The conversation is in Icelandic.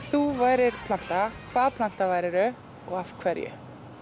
þú værir planta hvaða planta værirðu og af hverju